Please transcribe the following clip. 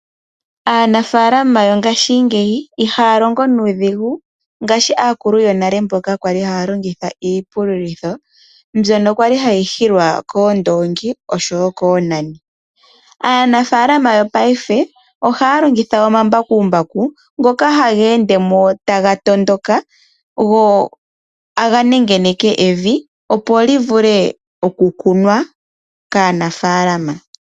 Aanafaalama yongaashingeyi ihaya longo nuudhigu ngaashi aakulu yonale mboka kwali haya longitha iipululitho , mbyono kwali hayi hilwa koondoongi oshowoo koonani. Aanafaalama yongashingeyi ohaya longitha ombakumbaku ngoka haga ende mo taga tondoka , taga nengeneke evi opo livule oku kunwa kaanafaalama.